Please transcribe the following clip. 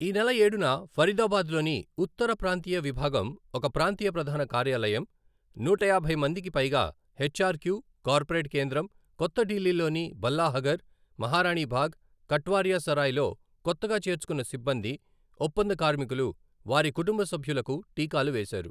ఈ నెల ఏడున, ఫరీదాబాద్లోని ఉత్తర ప్రాంతీయ విభాగం ఒక ప్రాంతీయ ప్రధాన కార్యాలయం, నూటయాభై మందికిపైగా హెచ్ఆర్క్యూ, కార్పొరేట్ కేంద్రం, కొత్త డిల్లీలోని బల్లాహఘర్, మహారాణి బాగ్, కట్వారియా సరాయ్లో కొత్తగా చేర్చుకున్న సిబ్బంది, ఒప్పంద కార్మికులు, వారి కుటుంబ సభ్యులకు టీకాలు వేశారు.